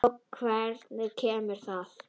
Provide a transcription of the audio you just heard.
Og hvenær kemur það?